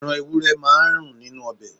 Ẹran ewúrẹ́ máa n nínú obẹ̀